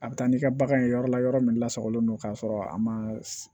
A bɛ taa n'i ka bagan ye yɔrɔ la yɔrɔ min lasagolen don k'a sɔrɔ a ma